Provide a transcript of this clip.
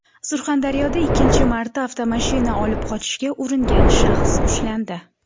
Surxondaryoda ikkinchi marta avtomashina olib qochishga uringan shaxs ushlandi.